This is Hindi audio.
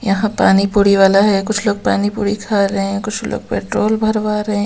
यहां पानी पूरी वाला है कुछ लोग पानी पूरी खा रहे हैं कुछ लोग पेट्रोल भरवा रहे हैं एक --